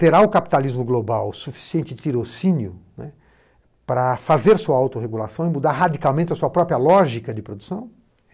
Terá o capitalismo global o suficiente tirocínio para fazer sua autorregulação e mudar radicalmente a sua própria lógica de produção?